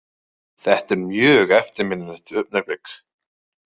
Þetta er mjög eftirminnilegt augnablik.